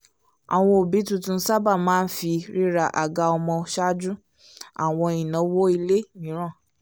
àwọn òbí tuntun sábà máa ń fi rira àga ọmọ ṣáájú àwọn ináwó ilé mìíràn